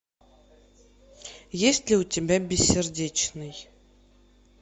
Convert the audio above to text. есть ли у тебя бессердечный